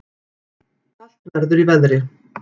Kalt verður í veðri